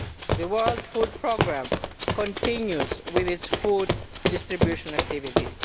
The World Food Programme continues its food distribution activities.